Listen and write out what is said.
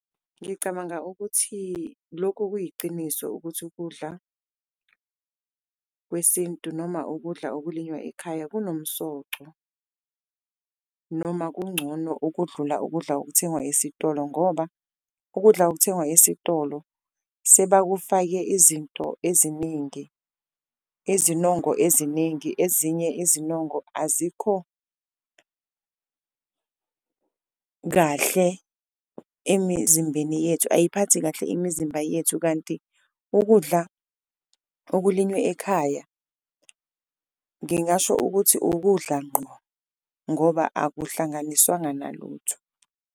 Ngicabanga ukuthi lokho kuyiciniso ukuthi ukudla kwesintu noma ukudla okulinywa ekhaya kunomsoco, noma kuncono ukudlula ukudla okuthengwa esitolo. Ngoba ukudla okuthengwa esitolo sebakufake izinto eziningi, izinongo eziningi ezinye izinongo azikho kahle emizimbeni yethu, ayiphathi kahle imizimba yethu. Kanti ukudla okulinywe ekhaya ngingasho ukuthi ukudla ngqo ngoba akuhlanganiswanga nalutho.